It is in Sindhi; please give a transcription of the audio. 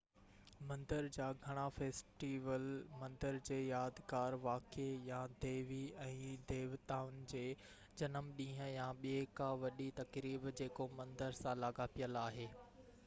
مندر جا گهڻا فيسٽيول مندر جي يادگار واقعي يا ديوي ۽ ديوتائن جي جنم ڏينهن يا ٻي ڪا وڏي تقريب جيڪو مندر سان لاڳاپيل آهي